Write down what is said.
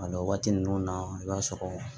o waati ninnu na i b'a sɔrɔ